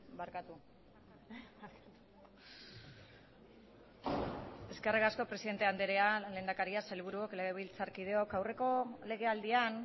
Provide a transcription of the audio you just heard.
barkatu eskerrik asko presidente andrea lehendakaria sailburuok legebiltzarkideok aurreko legealdian